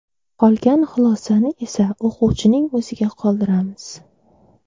Qolgan xulosani esa o‘quvchining o‘ziga qoldiramiz.